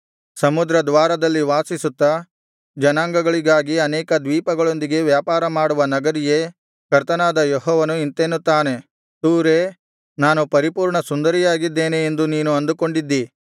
ಸಮುದ್ರ ದ್ವಾರದಲ್ಲಿ ವಾಸಿಸುತ್ತಾ ಜನಾಂಗಗಳಿಗಾಗಿ ಅನೇಕ ದ್ವೀಪಗಳೊಂದಿಗೆ ವ್ಯಾಪಾರ ಮಾಡುವ ನಗರಿಯೇ ಕರ್ತನಾದ ಯೆಹೋವನು ಇಂತೆನ್ನುತ್ತಾನೆ ತೂರೇ ನಾನು ಪರಿಪೂರ್ಣ ಸುಂದರಿಯಾಗಿದ್ದೇನೆ ಎಂದು ನೀನು ಅಂದುಕೊಂಡಿದ್ದೀ